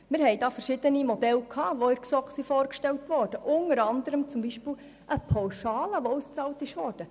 In der GSoK wurden hierzu verschiedene Modelle vorgestellt, beispielsweise eine Pauschale, die ausbezahlt würde.